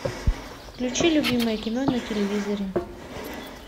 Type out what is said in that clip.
включи любимое кино на телевизоре